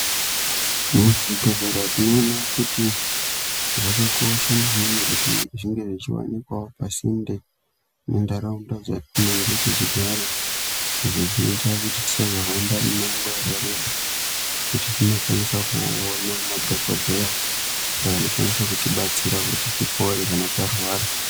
Muchibhedhlera tinoona kuti zvakakosha maningi kuti zvinge zvichivanikavo pasinde nentaraunda dzatinenge tichigara. Izvo zvinoita kuti tisahamba mumango yakareba kuti tinokwanisa kuona madhogodheya ayo anokwanisa kuti betsera kuti tipore kana tarwara.